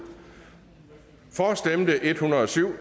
for stemte en hundrede og syv